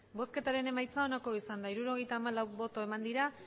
emandako botoak hirurogeita hamalau bai